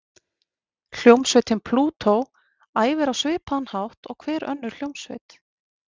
Hljómsveitin Plútó æfir á svipaðan hátt og hver önnur hljómsveit.